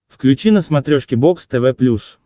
включи на смотрешке бокс тв плюс